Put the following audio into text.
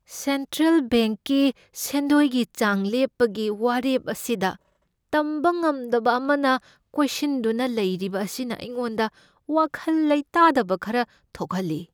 Central ꯕꯦꯡꯛꯀꯤ ꯁꯦꯟꯗꯣꯏꯒꯤ ꯆꯥꯡ ꯂꯦꯞꯄꯒꯤ ꯋꯥꯔꯦꯞ ꯑꯁꯤꯗ ꯇꯝꯕ ꯉꯝꯗꯕ ꯑꯃꯅ ꯀꯣꯏꯁꯤꯟꯗꯨꯅ ꯂꯩꯔꯤꯕ ꯑꯁꯤꯅ ꯑꯩꯉꯣꯟꯗ ꯋꯥꯈꯜ ꯂꯩꯇꯥꯗꯕ ꯈꯔ ꯊꯣꯛꯍꯜꯂꯤ꯫